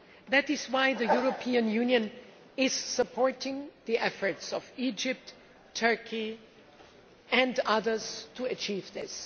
That is why the European Union is supporting the efforts of Egypt, Turkey and others to achieve this.